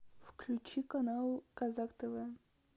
включи канал казах тв